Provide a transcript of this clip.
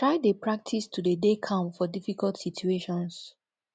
try de practice to de dey calm for difficult situations